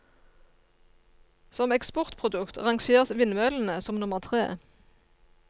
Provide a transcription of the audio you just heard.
Som eksportprodukt rangeres vindmøllene som nummer tre.